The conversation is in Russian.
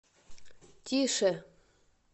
тише